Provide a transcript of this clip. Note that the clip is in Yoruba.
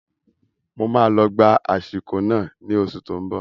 Máa lọ gba ashiko náà ní oṣù tó n bọ